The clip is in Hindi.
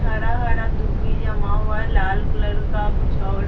हरा-हरा दुभी जमा हुआ हैं और लाल कलर का कुछ और --